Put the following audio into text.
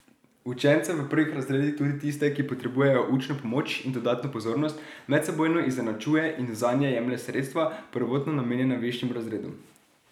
Učence v prvih razredih, tudi tiste, ki potrebujejo učno pomoč in dodatno pozornost, medsebojno izenačuje in zanje jemlje sredstva, prvotno namenjena višjim razredom.